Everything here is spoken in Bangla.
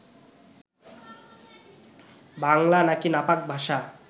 বাংলা নাকি নাপাক ভাষা